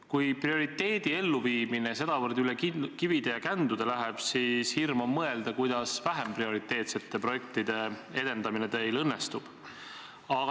Kui prioriteedi elluviimine sedavõrd üle kivide ja kändude läheb, siis hirm on mõelda, kuidas vähem prioriteetsete projektide edendamine teil õnnestub.